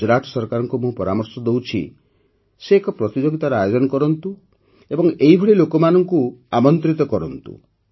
ଗୁଜରାଟ ସରକାରଙ୍କୁ ମୁଁ ପରାମର୍ଶ ଦେଉଛି କି ସେ ଏକ ପ୍ରତିଯୋଗିତାର ଆୟୋଜନ କରନ୍ତୁ ଏବଂ ଏହିଭଳି ଲୋକମାନଙ୍କୁ ଆମନ୍ତ୍ରିତ କରନ୍ତୁ